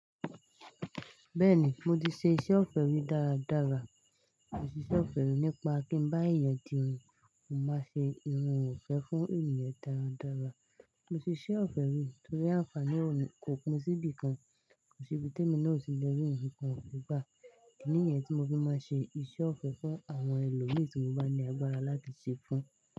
Bẹ́ẹ̀ni, mo ti ṣe iṣẹ́ ọ̀fẹ́ rí dára dára. Mo ṣe iṣẹ́ ọ̀fẹ́ rí nípa kí bá èèyàn di irun, mo máa ṣe irun òǹfẹ́ fún ènìyàn dára dára. Mo ṣe iṣẹ́ ọ̀fẹ́ rí torí àǹfààní òní kò pín sí ibi kan, kò sí ibiti tèmi otí lẹ́rì nìkan ọ̀fẹ́ gbà. Níyẹn tí mo fi máa ń ṣe iṣẹ́ ọ̀fẹ́ fún àwọn ẹlòmíì tí mo bá ní agbára láti ṣe fún.